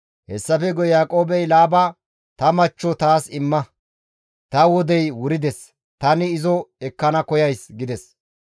Hessafe guye Yaaqoobey Laaba, «Ta machcho taas imma; ta wodey wurides; tani izo ekkana koyays» gides.